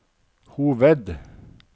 hoved